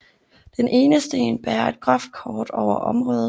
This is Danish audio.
Den ene sten bærer et groft kort over området